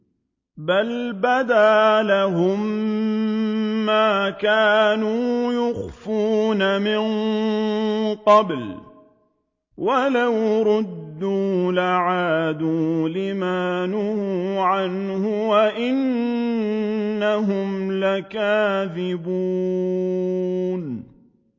بَلْ بَدَا لَهُم مَّا كَانُوا يُخْفُونَ مِن قَبْلُ ۖ وَلَوْ رُدُّوا لَعَادُوا لِمَا نُهُوا عَنْهُ وَإِنَّهُمْ لَكَاذِبُونَ